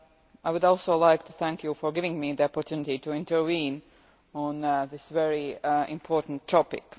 I would also like to thank you for giving me the opportunity to intervene on this very important topic.